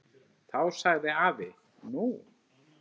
Þá sagði afi: Nú?